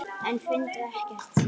En fundu ekkert.